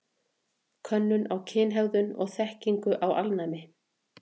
Könnun á kynhegðun og þekkingu á alnæmi.